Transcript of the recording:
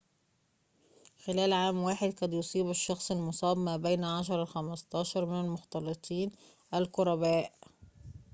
خلال عام واحد قد يصيب الشخص المُصاب ما بين 10 إلى 15 من المختلطين القرباء